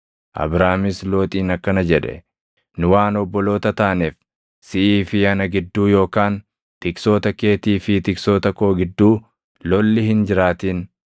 Abraamis Looxiin akkana jedhe; “Nu waan obboloota taaneef, siʼii fi ana gidduu yookaan tiksoota keetii fi tiksoota koo gidduu lolli hin jiraatin.